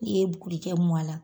N'i ye bukulikɛ mu a la